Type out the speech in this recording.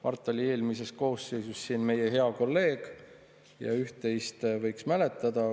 Mart oli eelmises koosseisus siin meie hea kolleeg ja üht-teist võiks mäletada.